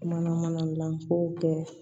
Mana mana dilan ko kɛ